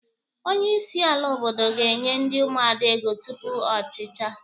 Onye isi ala obodo ga-enye ndị Ụmụada ego tupu ọ chichaa.